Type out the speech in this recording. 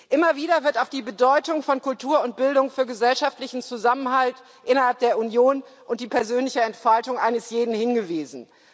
Immer wieder wird auf die Bedeutung von Kultur und Bildung für gesellschaftlichen Zusammenhalt innerhalb der Union und die persönliche Entfaltung eines jeden hingewiesen.